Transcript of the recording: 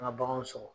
An ka baganw sɔgɔ